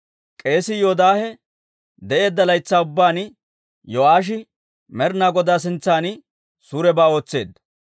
K'eesii Yoodaahe de'eedda laytsaa ubbaan Yo'aashi Med'inaa Godaa sintsan suurebaa ootseedda.